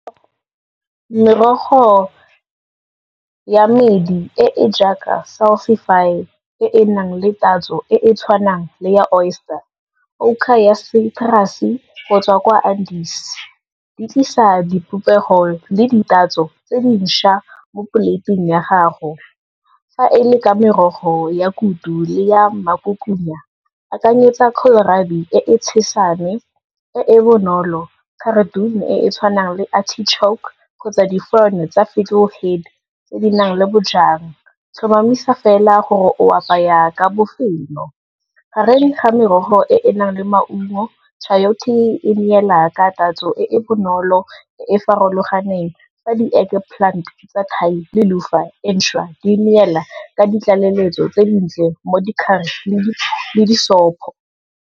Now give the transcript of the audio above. Merogo ya medi e e jaaka e e nang le tatso e e tshwanang le ya oyster, ya citrus go tswa kwa , di tlisa dipopego le ditatso tse disha mo poleiting ya gago, fa e le ka merogo ya kutu le ya magokuma, akanyetsa kohlrabi e e tshesane, e e bonolo, cardoon e e tshwanang le artichoke kgotsa di-fern-e tsa fiddle head tse di nang le bojang, tlhomamisa fela gore o apaya ka bofelo. Gareng ga merogo e e nang le maungo, chayote e neela ka tatso e e bonolo e e farologaneng, fa di-egg plant tsa Thai le luffa e ntsha di neela ka ditlaleletso tse dintle mo dikharishimi le disopo.